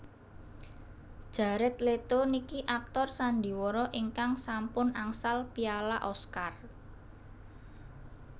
Jared Leto niki aktor sandiwara ingkang sampun angsal piala Oscar